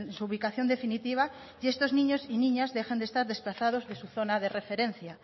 su ubicación definitiva y estos niños y niñas dejen de estar desplazados de su zona de referencia